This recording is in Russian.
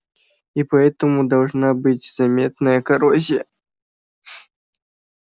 и поэтому должна быть заметная коррозия